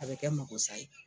A bi kɛ mako sa ye